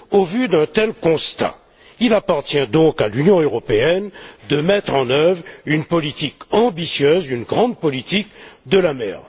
Au vu d'un tel constat, il appartient donc à l'Union européenne de mettre en œuvre une politique ambitieuse, une grande politique de la mer.